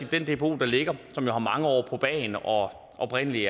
den dbo der ligger og som jo har mange år på bagen og oprindelig